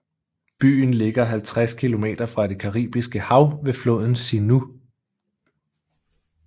Byen ligger 50 km fra det Caribiske hav ved floden Sinú